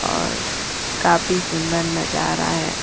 और काफी सुंदर नजारा है।